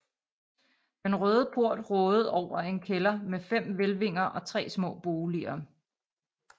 Den Røde Port rådede over en kælder med fem hvælvinger og tre små boliger